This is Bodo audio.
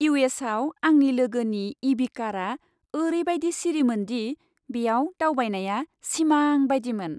इउ. एस. आव आंनि लोगोनि इ. भि. कारआ ओरैबायदि सिरिमोन दि बेयाव दावबायनाया सिमांबादिमोन।